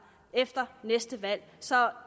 efter næste valg så